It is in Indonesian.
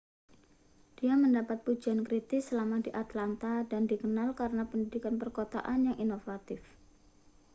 dia mendapat pujian kritis selama di atlanta dan dikenal karena pendidikan perkotaan yang inovatif